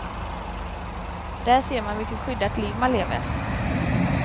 Där ser man vilket skyddat liv man lever.